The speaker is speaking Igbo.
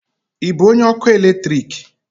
Ị bụ onye ọkụ eletrik?